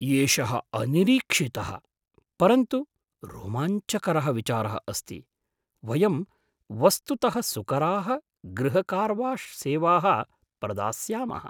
एषः अनिरीक्षितः परन्तु रोमाञ्चकरः विचारः अस्ति, वयं वस्तुतः सुकराः गृहकार्वाश्सेवाः प्रदास्यामः।